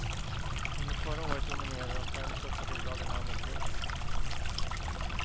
Under förra året dominerade de fem största bolagen handeln på börsen.